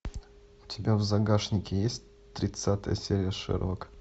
у тебя в загашнике есть тридцатая серия шерлока